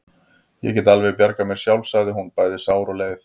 Ég get alveg bjargað mér sjálf, sagði hún, bæði sár og leið.